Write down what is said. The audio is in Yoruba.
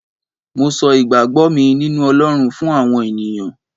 mo so igbagbo mi ninu olorun fún àwọn ènìyàn